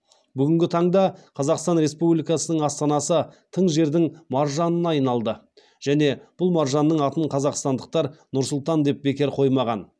бүгінгі таңда қазақстан республикасының астанасы тың жердің маржанына айналды және бұл маржанның атын қазақстандықтар нұр сұлтан деп бекер қоймаған